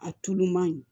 A tulu man ɲi